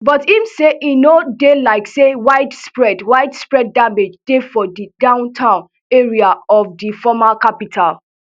but im say e no dey like say widespread widespread damage dey for di downtown area of di former capital